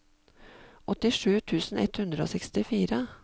åttisju tusen ett hundre og sekstifire